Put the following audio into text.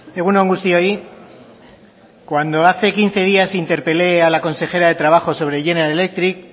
egun on guztioi cuando hace quince días interpele a la consejera de trabajo sobre general electric